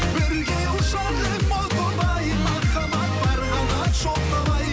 бірге ұшар ем о тоба ай махаббат бар қанат жоқ қалай